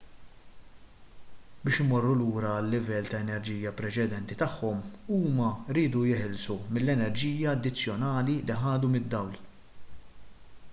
biex imorru lura għal-livell ta' enerġija preċedenti tagħhom huma jridu jeħilsu mill-enerġija addizzjonali li ħadu mid-dawl